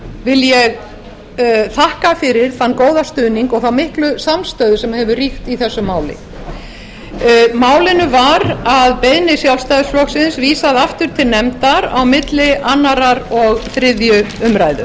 vil ég þakka fyrir þann góða stuðning og þá miklu samstöðu sem hefur ríkt í þessu máli málinu var að beiðni sjálfstæðisflokksins vísað aftur til nefndar á milli annars og þriðju umræðu